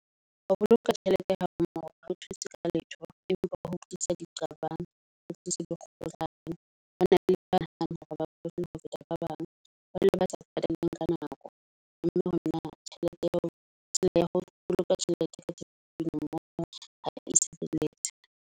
Ho boloka tjhelete ha mmoho ha o thuse ka letho empa ho tlisa diqabang, ho tlisa dikgohlano. Ho na le ba ho feta ba bang. Ba dula ba sa pataleng ka nako, mme ho na tjhelete ya ho ya ho boloka tjhelete ka moo. Ha e se .